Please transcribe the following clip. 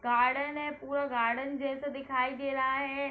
Garden है पूरा garden जैसा दिखाई दे रहा है।